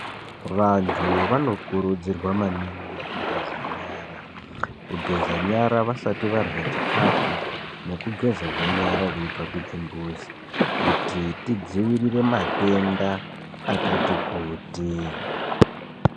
Vantu vanokurudzirwa maningi kugeza nyara , kugeza nyara vasati varya chikafu nekugezazve nyara veibva kuchimbuzi kuti tidzivirire matenda akatikuti.